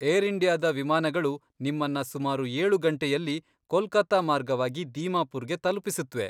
Air ಇಂಡಿಯಾದ ವಿಮಾನಗಳು ನಿಮ್ಮನ್ನ ಸುಮಾರು ಏಳು ಗಂಟೆಯಲ್ಲಿ ಕೊಲ್ಕತ್ತಾ ಮಾರ್ಗವಾಗಿ ದೀಮಾಪುರ್ಗೆ ತಲುಪಿಸುತ್ವೆ.